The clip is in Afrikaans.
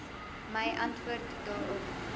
my antwoord daarop